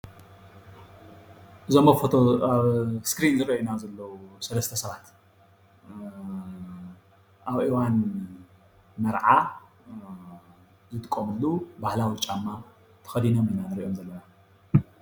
እዞም ኣብ ፎቶ ኣብ እስክሪን ዝረአዩና ዘለዉ ሰለስተ ሰባት ኣብ እዋን መርዓ ዝጥቀምሉ ባህላዊ ጫማ ተከዲኖም ኢና ንሪኦም ዘለና፡፡